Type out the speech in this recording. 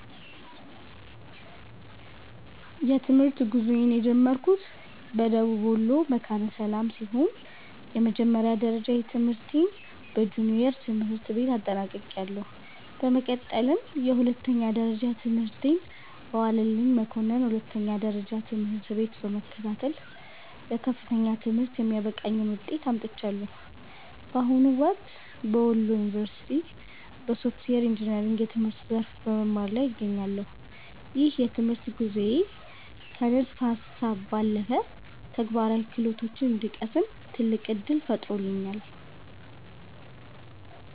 የትምህርት ጉዞዬን የጀመርኩት በደቡብ ወሎ መካነ ሰላም ሲሆን፣ የመጀመሪያ ደረጃ ትምህርቴን በጁኒየር ትምህርት ቤት አጠናቅቄያለሁ። በመቀጠልም የሁለተኛ ደረጃ ትምህርቴን በዋለልኝ መኮንን ሁለተኛ ደረጃ ትምህርት ቤት በመከታተል ለከፍተኛ ትምህርት የሚያበቃኝን ውጤት አምጥቻለሁ። በአሁኑ ወቅት በወሎ ዩኒቨርሲቲ (Wollo University) በሶፍትዌር ኢንጂነሪንግ የትምህርት ዘርፍ በመማር ላይ እገኛለሁ። ይህ የትምህርት ጉዞዬ ከንድፈ ሃሳብ ባለፈ ተግባራዊ ክህሎቶችን እንድቀስም ትልቅ ዕድል ፈጥሮልኛል።